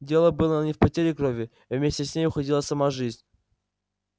дело было не в потере крови вместе с ней уходила сама жизнь